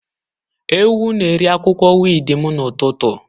Ewu na-eri akwụkwọ wiidi m n'ụtụtụ.